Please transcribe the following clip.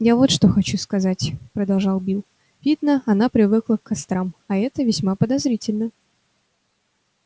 я вот что хочу сказать продолжал билл видно она привыкла к кострам а это весьма подозрительно